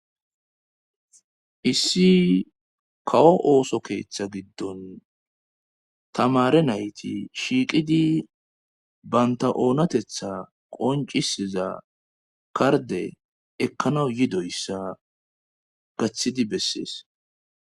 issi kawo ooso keeththa giddon tamare nayti shiiqidi banta oonatetha qoncisiza karde ekkanaw yidoyssa gaththidi bessees